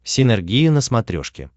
синергия на смотрешке